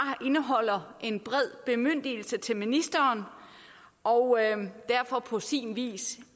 indeholder en bred bemyndigelse til ministeren og derfor på sin vis